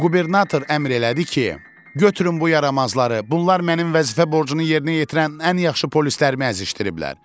Qubernator əmr elədi ki, götürün bu yaramazları, bunlar mənim vəzifə borcunu yerinə yetirən ən yaxşı polislərimi əzişdiriblər.